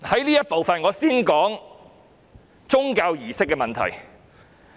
在這次發言，我先談談宗教儀式的問題。